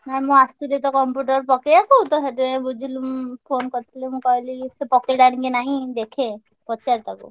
ନା ମୁଁ ଆସଥିଲି ତ computer ପକେଇଆକୁ ତ ସେଥିପାଇଁ ବୁଝିଲି ଉଁ phone କରିଥିଲି ମୁଁ କହିଲି ସେ ପକେଇଲାଣି କି ନାହିଁ ଦେଖେ ପଚାରେ ତାକୁ।